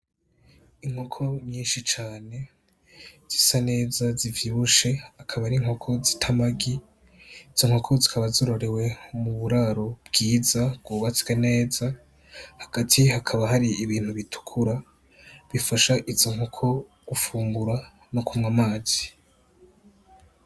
Inkoko nyinshi cane zisa neza zivyibushe, akaba ari inkoko zita amagi. Izo nkoko zikaba zororewe mu buraro bwiza bwubatswe neza, hagati hakaba hari ibintu bitukura, bifasha izo nkoko gufungura no kunwa amazi.